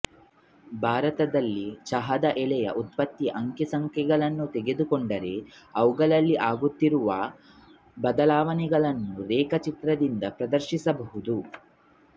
ಭಾರತದಲ್ಲಿ ಚಹದ ಎಲೆಯ ಉತ್ಪತ್ತಿಯ ಅಂಕಿಸಂಖ್ಯೆಗಳನ್ನು ತೆಗೆದು ಕೊಂಡರೆ ಅವುಗಳಲ್ಲಾಗುತ್ತಿರುವ ಬದಲಾವಣೆಗಳನ್ನು ರೇಖಾಚಿತ್ರದಿಂದ ಪ್ರದರ್ಶಿಸಬಹುದು